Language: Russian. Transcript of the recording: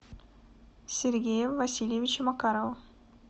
сергея васильевича макарова